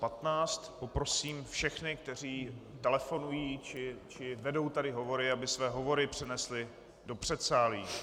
Poprosím všechny, kteří telefonují či vedou tady hovory, aby své hovory přenesli do předsálí.